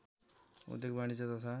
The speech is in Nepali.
उद्योग वाणिज्य तथा